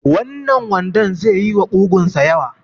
Wannan wandon ze yi wa ƙugun sa yawa